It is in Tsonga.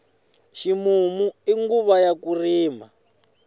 ximumu i nguva ya ku rima